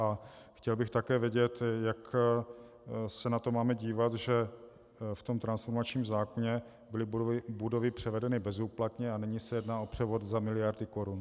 A chtěl bych také vědět, jak se na to máme dívat, že v tom transformačním zákoně byly budovy převedeny bezúplatně, a nyní se jedná o převod za miliardy korun.